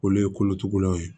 Olu ye kolotugulaw ye